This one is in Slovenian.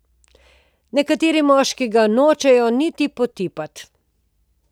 Nekateri moški ga nočejo niti potipati.